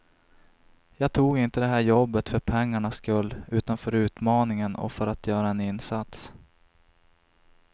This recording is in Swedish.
Jag tog inte det här jobbet för pengarnas skull, utan för utmaningen och för att göra en insats.